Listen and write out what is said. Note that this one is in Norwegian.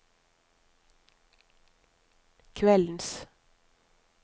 kveldens